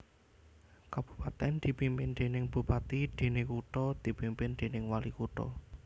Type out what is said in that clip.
Kabupatèn dipimpin déning bupati déné kutha dipimpin déning walikutha